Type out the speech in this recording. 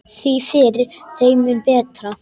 Því fyrr, þeim mun betra.